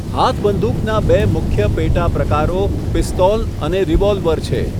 હાથબંદુકના બે મુખ્ય પેટા પ્રકારો પિસ્તોલ અને રિવોલ્વર છે.